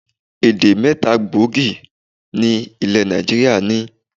Èdè̀ mẹ́ta gbòógì ni ilẹ̀ Nàìjíríà ní.